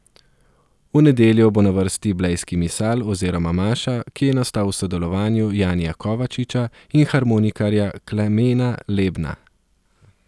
V nedeljo bo na vrsti Blejski misal oziroma maša, ki je nastal v sodelovanju Janija Kovačiča in harmonikarja Klemena Lebna.